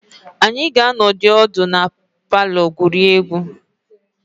Anyị ga-anọdụ ala na palọ gwurie egwu.